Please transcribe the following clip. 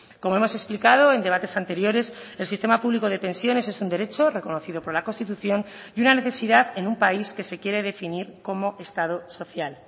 como hemos explicado en debates anteriores el sistema público de pensiones es un derecho reconocido por la constitución y una necesidad en un país que se quiere definir como estado social